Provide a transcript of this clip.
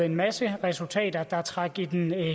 en masse resultater der trak i den